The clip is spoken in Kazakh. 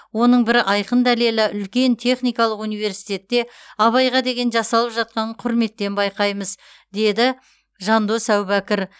оның бір айқын дәлелі үлкен техникалық университетте абайға деген жасалып жатқан құрметтен байқаймыз дейді жандос әубәкір